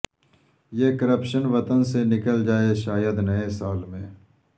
یہ کرپشن وطن سے نکل جائے شاید نئے سال میں